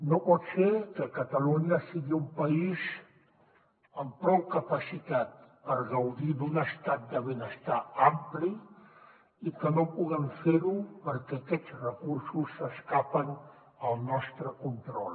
no pot ser que catalunya sigui un país amb prou capacitat per gaudir d’un estat de benestar ampli i que no puguem fer ho perquè aquests recursos s’escapen del nostre control